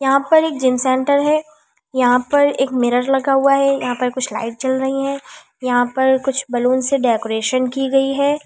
यहां पर एक जिम सेंटर है यहां पर एक मिरर लगा हुआ है यहां पर कुछ लाइट चल रही है यहां पर कुछ बलून से डेकोरेशन की गई है।